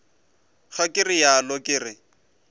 ga ke realo ke re